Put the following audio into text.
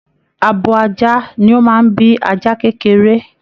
Àbò ajá ní o máa n bí ajá kekere.